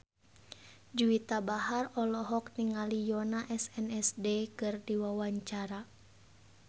Juwita Bahar olohok ningali Yoona SNSD keur diwawancara